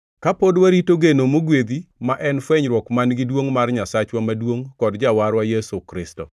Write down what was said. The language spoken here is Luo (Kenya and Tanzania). kapod warito geno mogwedhi ma en fwenyruok man-gi duongʼ mar Nyasacha maduongʼ kod Jawarwa, Yesu Kristo,